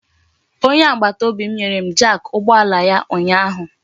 Onye agbataobi m nyere m jak ụgbọala ya ụnyaahụ.